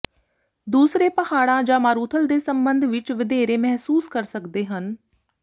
ਦੂਸਰੇ ਪਹਾੜਾਂ ਜਾਂ ਮਾਰੂਥਲ ਦੇ ਸੰਬੰਧ ਵਿਚ ਵਧੇਰੇ ਮਹਿਸੂਸ ਕਰ ਸਕਦੇ ਹਨ